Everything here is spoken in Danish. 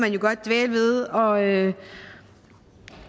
man jo godt dvæle ved og det